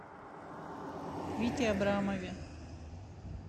вите абрамове